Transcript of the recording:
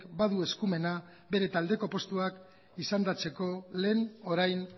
badu eskumena bere taldeko postuak izendatzeko lehen orain